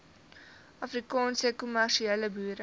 afrikaanse kommersiële boere